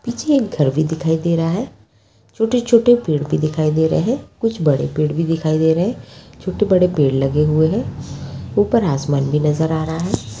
पीछे एक घर भी दिखाई दे रहा है छोटे-छोटे पेड़ भी दिखाई दे रहे है कुछ बड़े पेड़ भी दिखाई दे रहे है छोटे-बड़े पेड़ लगे हुए है ऊपर आसमान भी नजर आ रहा है।